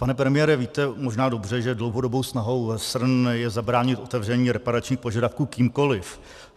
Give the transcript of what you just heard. Pane premiére, víte možná dobře, že dlouhodobou snahou SRN je zabránit otevření reparačních požadavků kýmkoliv.